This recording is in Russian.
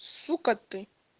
сука ты